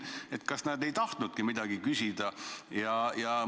Kas nad ei tahtnudki midagi küsida?